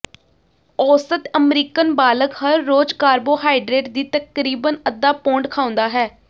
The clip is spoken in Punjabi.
ਔਸਤ ਅਮਰੀਕਨ ਬਾਲਗ ਹਰ ਰੋਜ਼ ਕਾਰਬੋਹਾਈਡਰੇਟ ਦੀ ਤਕਰੀਬਨ ਅੱਧਾ ਪੌਂਡ ਖਾਉਂਦਾ ਹੈ